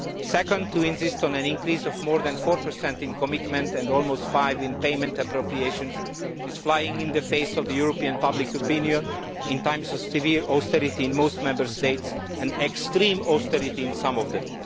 Second, to insist on an increase of more than 4 in commitment and almost 5 in payment appropriations is flying in the face of European public opinion in times of severe austerity in most Member States and extreme austerity in some of them.